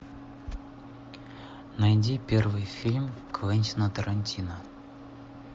найди первый фильм квентина тарантино